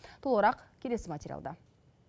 толығырақ келесі материалда